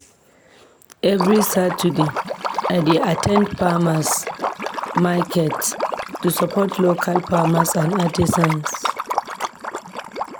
Every Saturday, I dey at ten d farmers' market to support local farmers and artisans.